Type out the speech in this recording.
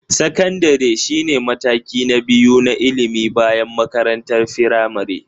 Sakandare shine mataki na biyu na ilimi bayan makarantar firamare.